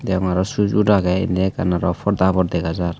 deyongor aro sujur agge indi aro ekkan porda habor degajar.